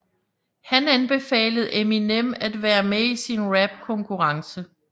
Han anbefalede Eminem at være med i sin rapkonkurrence